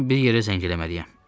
Mən bir yerə zəng eləməliyəm.